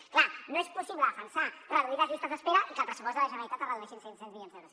és clar no és possible defensar reduir les llistes d’espera i que el pressupost de la generalitat es redueixi en cinc cents milions d’euros